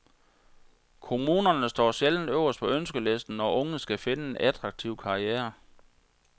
Kommunerne står sjældent øverst på ønskelisten, når unge skal finde en attraktiv karriere.